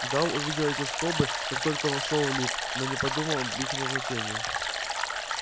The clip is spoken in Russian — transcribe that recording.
гаал увидел эти скобы как только вошёл в лифт но не подумал об их назначении